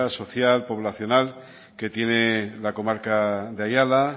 social poblacional que tiene la comarca de ayala